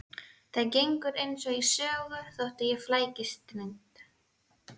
Það gengur eins og í sögu þótt ég flækist reynd